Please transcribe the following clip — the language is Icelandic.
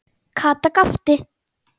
Kata gapti.